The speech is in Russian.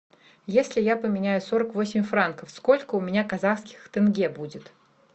если я поменяю сорок восемь франков сколько у меня казахских тенге будет